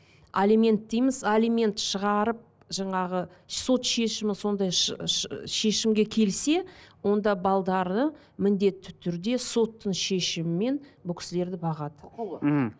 алимент дейміз алимент шығарып жаңағы сот шешімі сондай шешімге келсе онда міндетті түрде соттың шешімімен бұл кісілерді бағады мхм